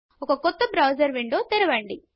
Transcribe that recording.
ఒక కొత్త browser window తెరవండి